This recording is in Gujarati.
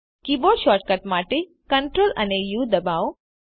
કીબોર્ડ શોર્ટકટ માટે CTRl અને ઉ દબાવો